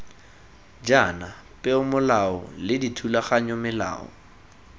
jaana peomolao le dithulaganyo melao